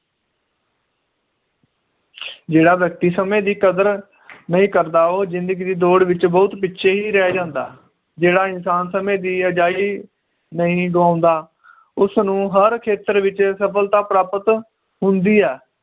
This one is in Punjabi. ਜਿਹੜਾ ਵ੍ਯਕ੍ਤਿ ਸਮੇ ਦੀ ਕਦਰ ਨਹੀਂ ਕਰਦਾ ਉਹ ਜਿੰਦਗੀ ਦੀ ਦੌੜ ਵਿਚ ਬਹੁਤ ਪਿੱਛੇ ਰਹਿ ਜਾਂਦਾ ਜਿਹੜਾ ਇਨਸਾਨ ਸਮੇ ਦੀ ਅਜਾਈਂ ਨਹੀ ਗਵਾਉਂਦਾ ਉਸਨੂੰ ਹਰ ਖੇਤਰ ਵਿਚ ਸਫਲਤਾ ਪ੍ਰਾਪਤ ਹੁੰਦੀ ਹੈ